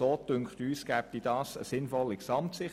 So ergibt sich eine sinnvolle Gesamtsicht.